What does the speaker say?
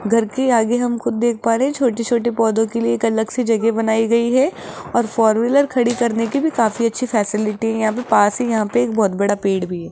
घर के आगे हम खुद देख पा रहे छोटे-छोटे पौधों के लिए एक अलग से जगह बनाई गई है और फोर व्हीलर खड़ी करने की भी काफी अच्छी फैसिलिटी है यहां पे पास ही यहां पे एक बहुत बड़ा पेड़ भी है।